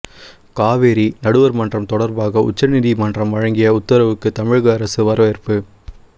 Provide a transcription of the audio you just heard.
காவிரி நடுவர் மன்றம் தொடர்பாக உச்சநீதிமன்றம் வழங்கிய உத்தரவுக்கு தமிழக அரசு வரவேற்பு